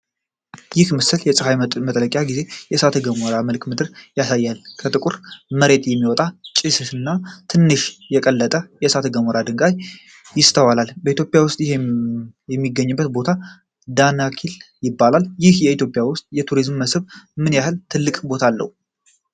ይህ ምስል የፀሐይ መጥለቂያ ጊዜ የእሳተ ገሞራ መልክዓ ምድርን ያሳያል። ከጥቁር መሬት የሚወጣ ጭስና ትንሽ የቀለጠ የእሳተ ገሞራ ድንጋይ ይስተዋላል። በኢትዮጵያ ውስጥ ይህ የሚገኝበት ቦታ ዳናኪል ይባላል። ይህ ቦታ በኢትዮጵያ ውስጥ የቱሪስት መስህብ ምን ያህል ትልቅ ቦታ አለው?